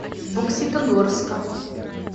бокситогорска